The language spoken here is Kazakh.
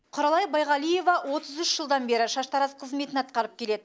құралай байғалиева отыз үш жылдан бері шаштараз қызметін атқарып келеді